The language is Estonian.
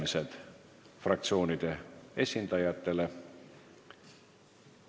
Avan fraktsioonide esindajate läbirääkimised.